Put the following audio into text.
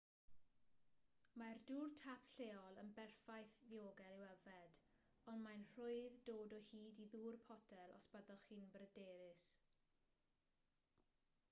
mae'r dŵr tap lleol yn berffaith ddiogel i'w yfed ond mae'n rhwydd dod o hyd i ddŵr potel os byddwch chi'n bryderus